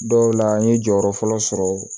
Dɔw la an ye jɔyɔrɔ fɔlɔ sɔrɔ